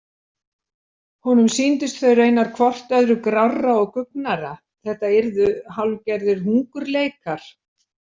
Honum sýndist þau raunar hvort öðru grárra og guggnara, þetta yrðu hálfgerðir hungurleikar.